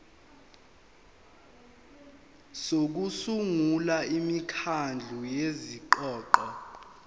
sokusungula imikhandlu yezingxoxo